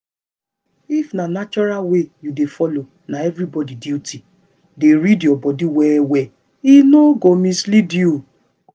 if na natural way you dey follow na everyday duty. dey read your body well well e no go mislead you.